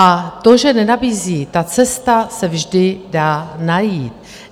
A to, že nenabízí - ta cesta se vždy dá najít.